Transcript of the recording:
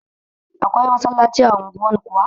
Akwai masallaci a unguwan kuwa?